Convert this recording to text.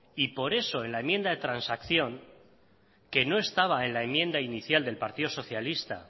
y por eso la enmienda de transacción que no estaba en la enmienda inicial del partido socialista